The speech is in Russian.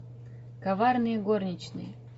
коварные горничные